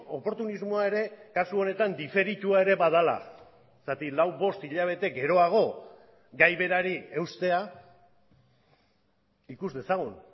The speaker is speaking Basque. oportunismoa ere kasu honetan diferitua ere badela zergatik lau bost hilabete geroago gai berari eustea ikus dezagun